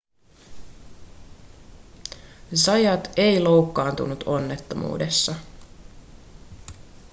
zayat ei loukkaantunut onnettomuudessa